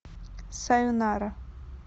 сайонара